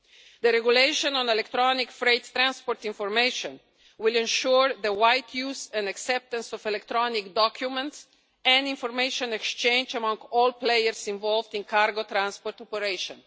The regulation on electronic freight transport information will ensure the wide use and acceptance of electronic documents and information exchange among all players involved in cargo transport operation.